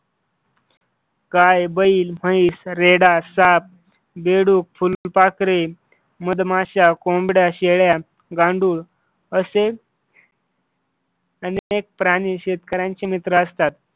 गाय, बैल, म्हैस, रेडा, साप, बेडूक, फुलपाखरे, मधमाशा, कोंबड्या, शेळ्या, गांडूळ अस अनेक प्राणी शेतकऱ्यांचे मित्र असतात.